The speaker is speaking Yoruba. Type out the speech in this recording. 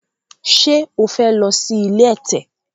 ṣe o fè ló sì ilé ẹ̀tẹ̀?